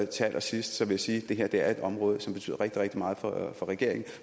til allersidst vil jeg sige at det her er et område som betyder rigtig rigtig meget for regeringen